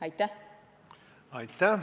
Aitäh!